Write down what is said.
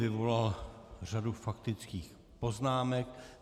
Vyvolal řadu faktických poznámek.